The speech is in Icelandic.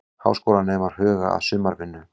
Háskólanemar huga að sumarvinnu